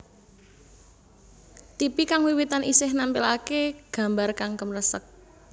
Tipi kang wiwitan isih nampilake gambar kang kemresek